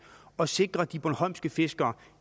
og sikrede de bornholmske fiskere